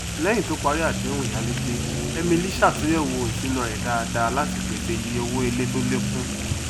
lẹyìn tó parí àdéhùn ìyálegbé emily sàtúnyẹwò ìṣúná rẹ dáadá látí pèsè iye owó ilé tó lékún